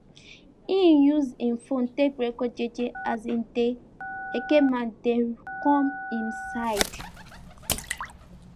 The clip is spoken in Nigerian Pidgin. im use him fone take record jeje as de eke men dey com hin side